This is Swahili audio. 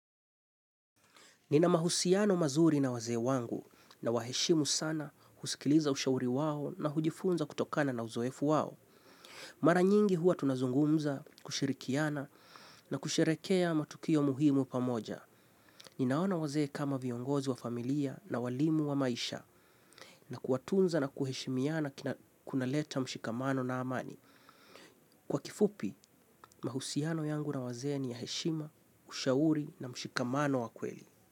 Nina mahusiano mazuri na wazee wangu nawa heshimu sana husikiliza ushauri wao na hujifunza kutokana na uzoefu wao. Mara nyingi huwa tunazungumza, kushirikiana na kusherekea matukio muhimu pamoja. Ninaona wazee kama viongozi wa familia na walimu wa maisha na kuwatunza na kuheshimiana kuna leta mshikamano na amani. Kwa kifupi, mahusiano yangu na wazee ni ya heshima, ushauri na mshikamano wa kweli.